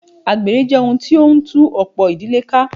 Àgbèrè jẹ́ ohun tí o ń tú ọ̀pọ̀ ìdílé ká.